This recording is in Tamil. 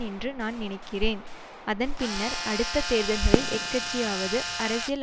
என்று நான் நினைக்கிறேன் அதன் பின்னர் அடுத்த தேர்தல்களில் எக்கட்சியாவது அரசியல்